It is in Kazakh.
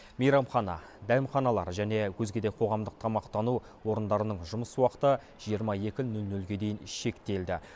мейрамхана дәмханалар және өзге де қоғамдық тамақтану орындарының жұмыс уақыты жиырма екі нөл нөлге дейін шектелді